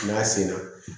N'a senna